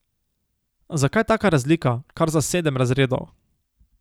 Zakaj taka razlika, kar za sedem razredov?